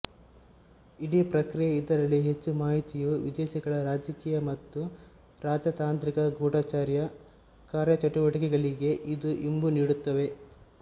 ಇಡೀ ಪ್ರಕ್ರಿಯೆ ಇದರಲ್ಲಿ ಹೆಚ್ಚು ಮಾಹಿತಿಯು ವಿದೇಶಗಳ ರಾಜಕೀಯ ಮತ್ತು ರಾಜತಾಂತ್ರಿಕ ಗೂಢಚರ್ಯ ಕಾರ್ಯಚಟುವಟಿಕೆಗಳಿಗೆ ಇದು ಇಂಬು ನೀಡುತ್ತದೆ